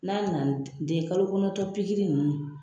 N'a nana ni den ye kalo kɔnɔntɔn ninnu.